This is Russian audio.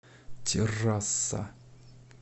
террасса